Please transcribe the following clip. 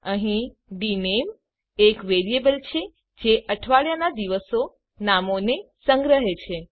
અહીં ડીનેમ એક વેરિયેબલ છે જે અઠવાડિયાના દિવસો નામોને સંગ્રહે છે